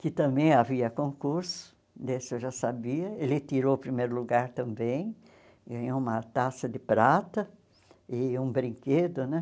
que também havia concurso, desse eu já sabia, ele tirou o primeiro lugar também, ganhou uma taça de prata e um brinquedo, né?